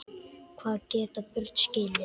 Hvað geta börn skilið?